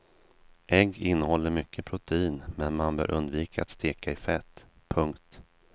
Ägg innehåller mycket protein men man bör undvika att steka i fett. punkt